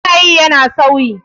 Yanayi yana sauyi.